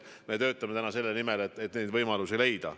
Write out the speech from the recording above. Nii et me töötame täna selle nimel, et neid võimalusi leida.